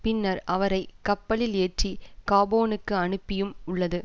பின்னர் அவரை கப்பலில் ஏற்றி காபோனுக்கு அனுப்பியும் உள்ளது